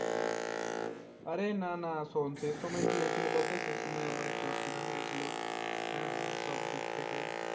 আরে না না শোন সেই সময় কি হয়েছিল বলতো সে সময় আমার একটু অসুবিধা হয়ে গেছিল হ্যাঁ সব দিক থেকে